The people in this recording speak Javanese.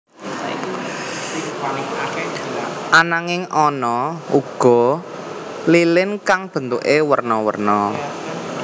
Ananging ana uga lilin kang bentuké werna werna